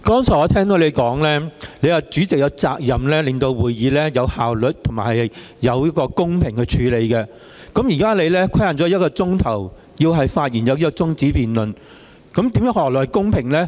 剛才我聽到你說主席有責任令會議有效率和公平地進行，但現在你把中止待續議案的發言時間規限為1小時，這樣又何來公平呢？